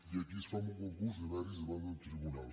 i aquí es fa amb un concurs de mèrits davant d’un tribunal